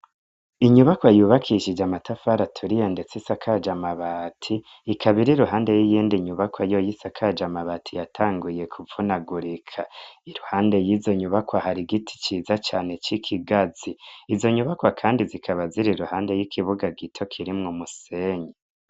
Inyubakwa yubakishije amatafara turiye, ndetse saka jamabati ikabairi ruhande y'iyindi nyubakwa yo y'isakajaamabati yatanguye kuvunagurika iruhande y'izo nyubakwa hari igiti ciza cane c'ikigazi izo nyubakwa, kandi zikaba zira ruhande y'ikibuga gito kirimwo musenyi.